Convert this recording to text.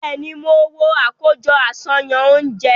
Bẹẹni, mo wo akojọ aṣayan ounjẹ